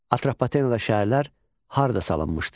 Atropatenada şəhərlər harda salınmışdı?